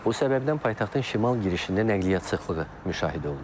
Bu səbəbdən paytaxtın şimal girişində nəqliyyat sıxlığı müşahidə olunur.